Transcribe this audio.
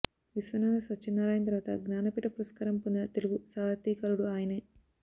విశ్వనాధ సత్యనారాయణ తర్వాత జ్ఞానపీఠ పురస్కారం పొందిన తెలుగు సాహితీకారుడు ఆయనే